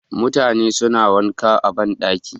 Mutane suna wanka a ban ɗaki.